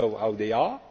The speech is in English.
You know how they are